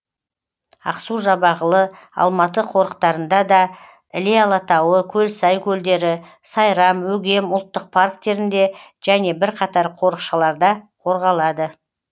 ақсу жабағылы алматы қорықтарында да іле алатауы көлсай көлдері сайрам өгем ұлттық парктерінде және бірқатар қорықшаларда қорғалады